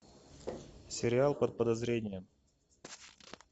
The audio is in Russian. сериал под подозрением